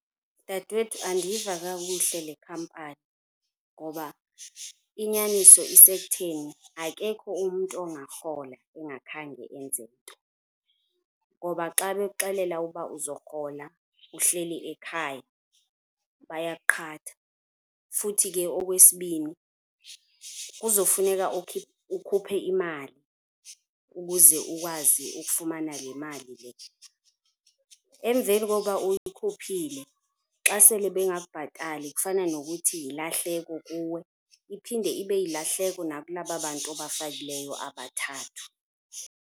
Dadewethu andiyiva kakuhle le khampani ngoba inyaniso isekutheni akekho umntu ongarhola engakhange enze nto. Ngoba xa bekuxelela ukuba uzorhola uhleli ekhaya bayakuqhatha futhi ke okwesibini kuzofuneka ukhuphe imali ukuze ukwazi ukufumana le mali le. Emveni kokuba uyikhuphile xa sele bengakubhatali kufana nokuthi yilahleko kuwe iphinde ibe yilahleko nakula bantu ubafakileyo abathathu.